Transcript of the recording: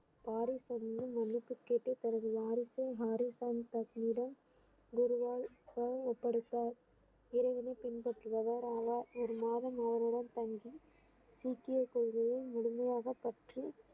Paris மன்னிப்பு கேட்டு தனது குருவால் ஒப்படைத்தார் இறைவனை பின்பற்றுபவர் ஆனார் ஒரு மாதம் அவருடன் தங்கி சீக்கிய கொள்கையை முழுமையாக பற்றி